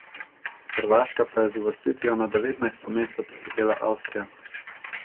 Hrvaška pa je z uvrstitvijo na devetnajsto mesto prehitela Avstrijo.